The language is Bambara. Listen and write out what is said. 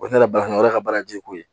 O ne nana baara kɔnɔ o y'a ka baara ye koyi